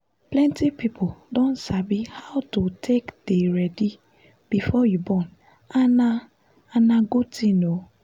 plenty people don sabi how to take dey ready before you born and na and na good thing oo